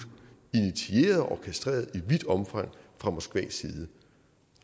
orkestreret i vidt omfang fra moskvas side